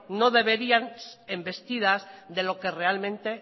deberían embestidas de lo que realmente